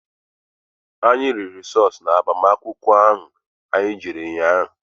Anyị riri sọọsụ na agbamakwụkwọ anyị jere ụnyaahụ.